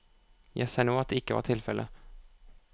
Jeg ser nå at det ikke var tilfelle.